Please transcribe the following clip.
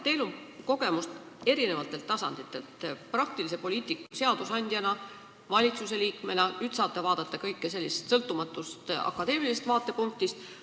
Teil on kogemus eri tasanditelt, praktilise poliitiku, seadusandja ja valitsusliikmena, nüüd saate vaadata kõike sellisest sõltumatust akadeemilisest vaatepunktist.